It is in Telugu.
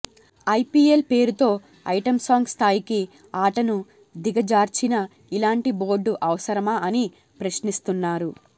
ఐపీఎల్ పేరుతో ఐటం సాంగ్ స్థాయికి ఆటను దిగజార్చిన ఇలాంటి బోర్డు అవసరమా అని ప్రశ్నిస్తున్నారు